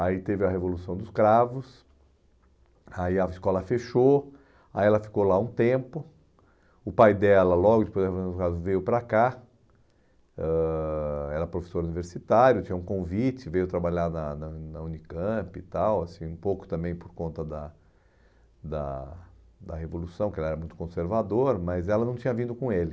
Aí teve a Revolução dos Cravos, aí a escola fechou, aí ela ficou lá um tempo, o pai dela logo depois da Revolução dos Cravos veio para cá, ãh era professor universitário, tinha um convite, veio trabalhar na na na Unicamp e tal, assim, um pouco também por conta da da da Revolução, porque ela era muito conservadora, mas ela não tinha vindo com ele.